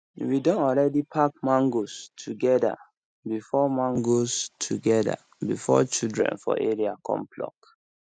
we don already pack mangoes together before mangoes together before children for area come pluck